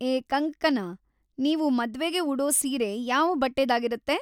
ಏ ಕಂಗ್ಕನಾ, ನೀವು ಮದ್ವೆಗೆ ಉಡೋ ಸೀರೆ ಯಾವ ಬಟ್ಟೆದಾಗಿರುತ್ತೆ?